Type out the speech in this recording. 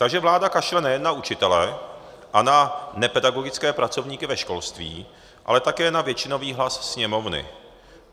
Takže vláda kašle nejen na učitele a na nepedagogické pracovníky ve školství, ale také na většinový hlas Sněmovny.